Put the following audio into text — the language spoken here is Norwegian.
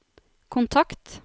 kontakt